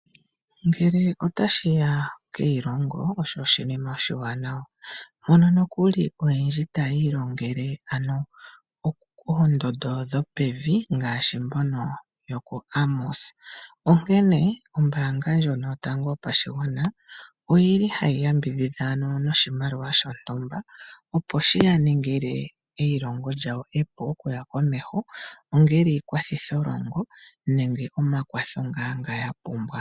Ngele otashi ya keilongo, osho oshinima oshiwanawa, mono nokuli aantu oyendji taya ilongele ano oondondo dhopevi ngaashi mbono yokuAmos. Onkene ombaanga ndjono yotango yopashigwana ohayi yambidhidha noshimaliwa shontumba, opo shi ya ningile oshipu, eilongo lywawo okuya komeho ongele iikwathitholongo nenge omakwatho ngaa nga ya pumbwa.